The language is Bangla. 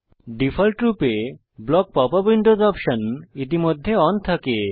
ডিফল্টরূপে block pop up windows option ইতিমধ্যে অন থাকে